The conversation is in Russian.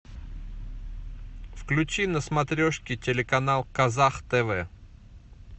включи на смотрешке телеканал казах тв